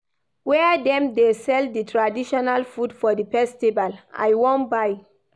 Where dem dey sell di traditional food for di festival, I wan buy?